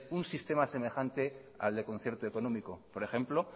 un sistema semejante al del concierto económico por ejemplo